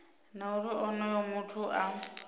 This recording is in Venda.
na uri onoyo muthu a